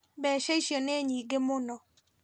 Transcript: Mbeca icio nĩ nyingĩ mũno